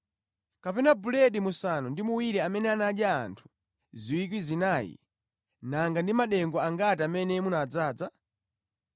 Kapena buledi musanu ndi muwiri amene anadya anthu 4,000, nanga ndi madengu angati amene munadzaza?